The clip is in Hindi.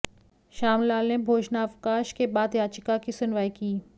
श्यामलाल ने भोजनावकाश के बाद याचिका की सुनवाई की